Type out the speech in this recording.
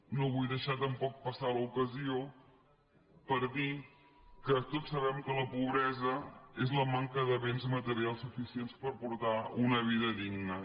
no vull deixar tampoc passar l’ocasió de dir que tots sabem que la pobresa és la manca de béns materials suficients per portar una vida digna